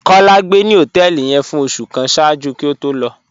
Kọ́lá gbé ni họtẹẹlì yẹn fún ọṣù kàn ṣáàjú kí ó tó lọ